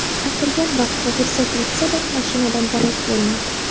Aytilgan vaqt va fursat yetsa-da, mashinadan darak bo‘lmaydi.